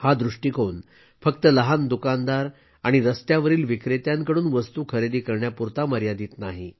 हा दृष्टीकोन फक्त लहान दुकानदार आणि रस्त्यावरील विक्रेत्यांकडून वस्तू खरेदी करण्यापुरता मर्यादित नाही